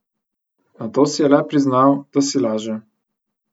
Nato si je le priznal, da si laže.